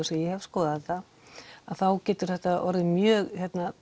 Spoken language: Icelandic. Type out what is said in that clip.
ég hef skoðað þetta að þá getur þetta orðið mjög